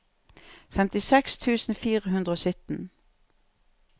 femtiseks tusen fire hundre og sytten